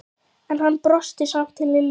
En hann brosti samt til Lillu.